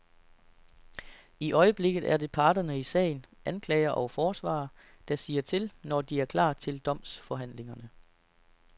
I øjeblikket er det parterne i sagen, anklager og forsvarer, der siger til, når de er klar til domsforhandlingerne.